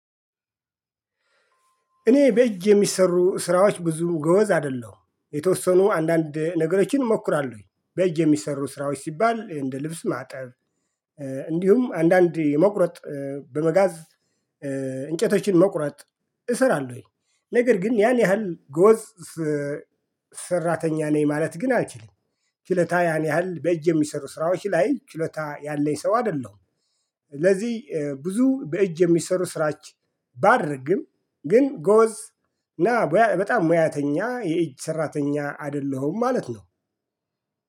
እኔ በእጅ የሚሰሩ ስራዎች ብዙም ጎበዝ አይደለሁም የተወሰኑ አንዳንድ ነገሮችን እሞክራለሁ በእጅ የሚሰሩ ስራዎች ሲባል እንደ ልብስ ማጠብ። እንዲሁም አንዳንድ የመቁረጥ በመጋዝ እንጨቶችን መቁረጥ እሰራለሁኝ ነገር ግን ያን ያህል ጎበዝ ሰራተኛ ነኝ ማለት ግን አልችልም። ችሎታ ያን ያህል በእጅ የሚሰሩ ስራዎች ላይ ችሎታ ያለኝ የሰው አይደለሁም። ስለዚህ ብዙ በእጅ የሚሰሩ ስራዎች ባደርግም ግን ጎበዝ ና በጣም ሙያተኛ የእጅ ሰራተኛ አይደለሁም ማለት ነው።